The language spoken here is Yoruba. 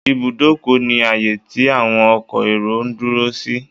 Ìbùdókọ̀ ni ààyè tí àwọn ọkọ èrò ń dúró sí.